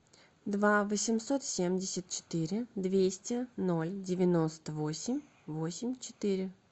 два восемьсот семьдесят четыре двести ноль девяносто восемь восемь четыре